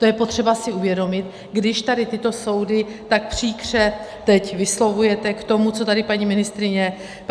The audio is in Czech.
To je potřeba si uvědomit, když tady tyto soudy tak příkře teď vyslovujete k tomu, co tady paní ministryně řekla.